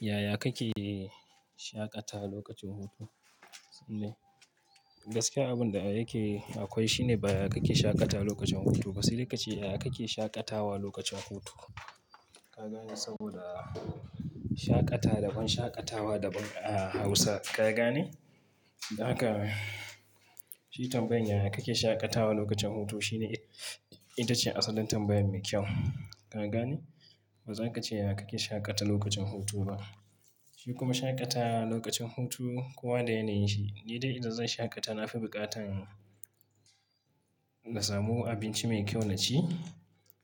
Yaya kake shaƙata lokacin hutu? Gaskiya abun da yake akwai shine ba yaya kake shaƙata lokacin hutu ba, kasi lokaci yaya kake shaƙatawa lokacin hutu. Ka gane? Saboda shaƙata daban shaƙatawa daban a Hausa, ka gane? Haka shi tambayan yaya kake shaƙatawa lokacin hutu shine ita ce asalin tambaya mai kyau. Ka gane? Ba zan ka ce yaya kake shaƙata lokacin hutu ba. Shi kuma shaƙatawa lokacin hutu kowa da yanayin shi, ni dai idan zan shaƙata na fi buƙatan na samu abinci mai kyau na ci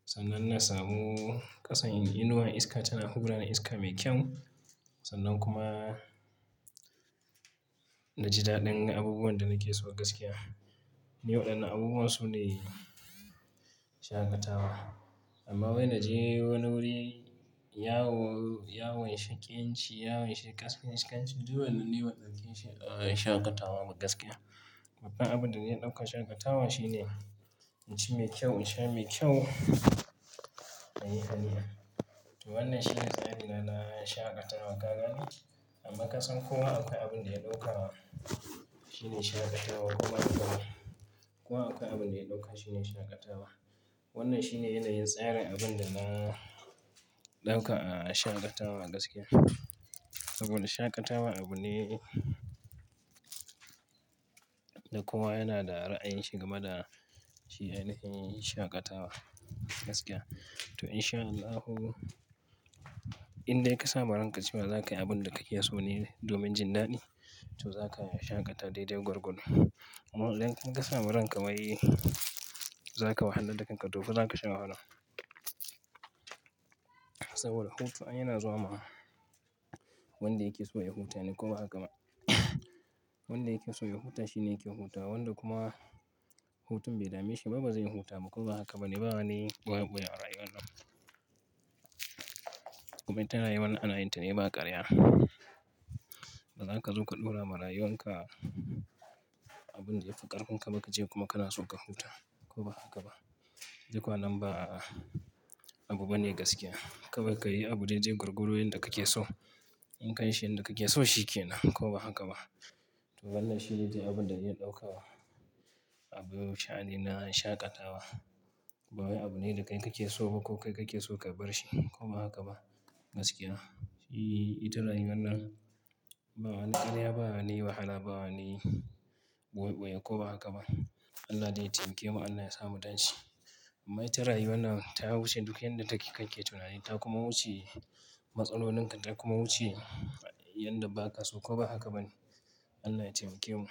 sannan na samu ƙasan inuwar iska tana hubura da iska mai kyau sannan kuma na ji daɗin abubuwan da nake so gaskiya. Ni waɗannan abubuwan su ne shaƙatawa. Amma wai na je wani wuri ya w-ya wainshe ƙyanci, ya wainshe ƙasfin, shi ƙyanci duk wannan ne waɗansu ƙin shi, a, in shaƙatawa gaskiya. Abin da na ɗauka shaƙatawa shi ne in ci mai kyau, in sha mai kyau, na yi hani'a. To wannan shi ne tsarina na shaƙatawa, ka gane? Amma ƙasan kowa akwai abun da ya ɗauka shi ne shaƙatawa kuma akwai, kowa akwai abun da ya ɗauka shi ne shaƙatawa. Wannan shi ne yanayin tsarin abun da na ɗauka a shaƙatawa gaskiya. Saboda shaƙatawa abu ne da kowa yana da ra'ayin shi game da shi ainihin shaƙatawa gaskiya. To in sha Allahu, in dai ka sama ranka cewa za ka yi abun da ka ke so ne domin jin daɗi, to za ka shaƙata daidai gwargwad. Amma in kasa ma ranka wai za ka wahalla da kanka tofa za ka sha wahala. Saboda hutu ay yana zuwa ma wanda yake so ya huta ne ko ba haka ba. Wanda yake so ya huta shi ne yake huta, wanda kuma hutun bai dame shi ba, ba zai huta ba. Ko ba haka ba ne? Ba wani ɓoye-ɓoye a rayuwa nan. Kuma ita rayuwa nan ana yin ta ne ba ƙarya. Ba za ka zo ka ɗora ma rayuwan ka abun da ya fi ƙarkarin ka ba ka je kuma kana so ka huta ko ba haka ba. Duk kwanan ba a, abu bane gaskiya. Kawai ka yi abu daidai gwargwado yanda kake so. In kai shi yanda kake so shi ke nan ko ba haka ba. To wannan shi ne dai abun da na ɗauka abu sha'ani na shaƙatawa. Ba wai abu ne da kai kake so ba ko kai kake so ka bar shi ko ba haka ba gaskiya. Shi ita rayuwan nan ba wani, ƙarya ba wani wahala, bawani ɓoye-ɓoye ko ba haka ba. Allah dai ya taimake mu, Allah ya sa mu tan shi. Amma ita rayuwa nan ta wuce duk yanda take kai ke tunani. Ta kuma wuce matsalolin ka ta kuma wuce yanda ba ka so ko ba haka ba ne? Allah ya taimake mu.